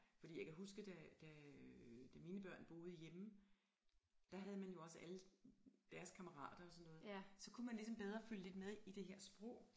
Fordi jeg kan huske da da øh da mine børn boede hjemme der havde man jo også alle deres kammerater og sådan noget så kunne man ligesom bedre følge lidt med i det her sprog